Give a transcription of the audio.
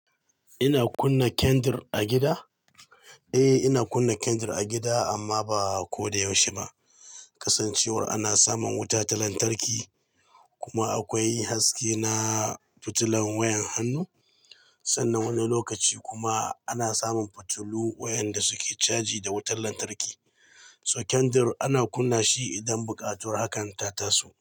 Ina kunna kandir a gida? A ina kunna kandir a gida amma ba ko da yaushe ba. Kasancewar ana samun wuta ta lantarki kuma akwai haske na fitilan wayan hannu sannan wani lokaci kuma ana samun fitilu wayanda suke caji da wutar lantarki. So kandir ana kunna shi idan buƙatar hakan ta tasu.